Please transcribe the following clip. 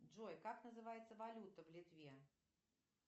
джой как называется валюта в литве